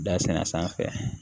Da senna sanfɛ